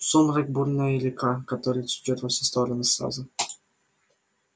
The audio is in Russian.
сумрак бурная река которая течёт во все стороны сразу